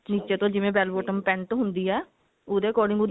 ਨਿੱਚੇ ਤੋਂ ਜਿਵੇਂ bell bottom ਹੁੰਦੀ ਹੈ ਉਹਦੇ according ਉਹਦੀ ਮੁਹਰੀ